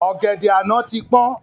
Ọ̀gẹ̀dẹ̀ àná ti pọ́n